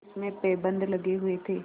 जिसमें पैबंद लगे हुए थे